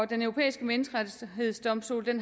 den europæiske menneskerettighedsdomstol